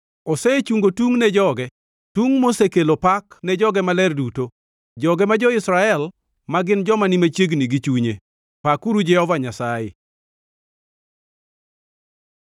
Osechungo tung ne joge, tung mosekelo pak ne joge maler duto, joge ma jo-Israel, ma gin joma ni machiegni gi chunye. Pakuru Jehova Nyasaye!